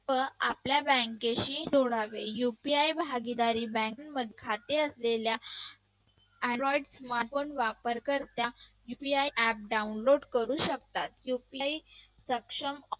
व आपल्या bank ची जोडावे UPI भागीदारी bank मध्ये खाते असलेल्या Android smartphone वापर करत्या UPI app download करू शकतात. UPI सक्षम